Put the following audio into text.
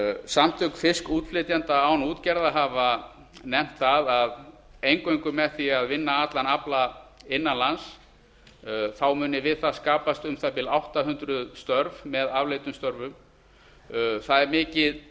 samtök fiskútflytjenda án útgerðar hafa nefnt það að eingöngu með því að vinna allan afla innan lands muni skapast við það um það bil átta hundruð störf með afleiddum störfum það er mikið